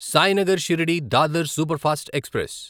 Sainagar Shirdi Dadar superfast express